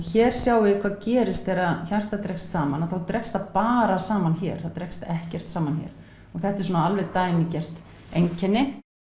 hér sjáið þið hvað gerist þegar hjartað dregst saman þá dregst það bara saman hér það dregst ekkert saman hér og þetta er svona dæmigert einkenni